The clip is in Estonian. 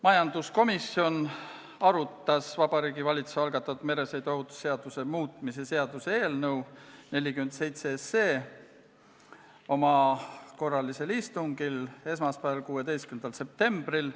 Majanduskomisjon arutas Vabariigi Valitsuse algatatud meresõiduohutuse seaduse muutmise seaduse eelnõu 47 oma korralisel istungil esmaspäeval, 16. septembril.